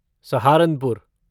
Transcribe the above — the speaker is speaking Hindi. सहारनपुर